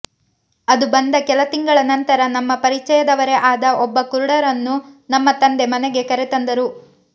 ಅದುಬಂದ ಕೆಲ ತಿಂಗಳ ನಂತರ ನಮ್ಮ ಪರಿಚಯದವರೇ ಆದ ಒಬ್ಬ ಕುರುಡರನ್ನು ನಮ್ಮ ತಂದೆ ಮನೆಗೆ ಕರೆತಂದರು